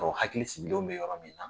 Mɔgɔ hakili sigilenw bɛ yɔrɔ min na.